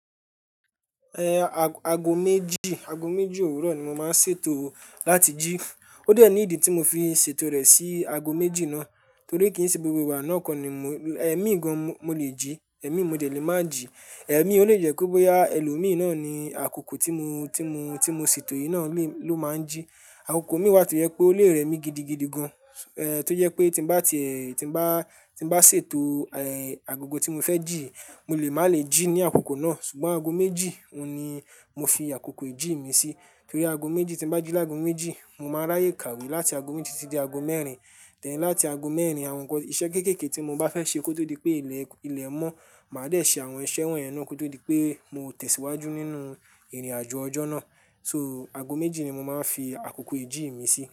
Eh ago méjì, ago méjì òwúrọ̀ ni mo máa ń ṣètò láti jí. Ó dẹ ní ìdí tí mo fi ṣètò rẹ̀ sí ago méjì náà torí kí n se gbogbo ìgbà náà kọ́ ni mò, ẹ̀mí gan-an mo lè jí, ẹ̀mí mo dẹ̀ lé máa jí, ẹ̀mí ó lè jẹ́ kó bóyá ẹlòmí na ni àkoko tí mo, tí mo, tí mo ṣètò yìí náà lé, ló máa ń jí. Àkokọ mi wá tó yẹ pé ó lé rẹ̀mí gidigidi gan-an, eh tó yẹ pé tí bá ti ẹ, tí bá, tí bá ṣètò eh agogo tí mo fẹ́ jí, mo lè má lè jí ní àkókò náà. Ṣùgbọ́n ago méjì, òun ni mo fi àkókò ìjì mi sí torí ago méjì tí bá jí lágo méjì, mo máa ráyè kàwé láti ago méjì títí dé ago mẹ́rin. Then láti ago mẹ́rin, àwọn nǹkan iṣẹ́ kéékèèké tí mo bá fẹ́ ṣe kó tó di pé ilẹ̀, ilẹ̀ mọ́, màá dé ṣe àwọn iṣẹ́ wọ̀nyẹn náà kó tó di pé mo tẹ̀síwájú nínú ìrìnàjò ọjọ́ náà. So ago méjì ni mo máa ń fi àkókò ìjì mi sí.